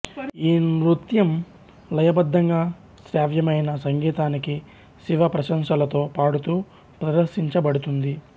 ఈ నృత్యం లయబద్ధంగా శ్రావ్యమైన సంగీతానికి శివ ప్రశంసలతో పాడుతూ ప్రదర్శించబడుతుంది